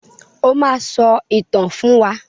O máa sọ ìtàn fún wa.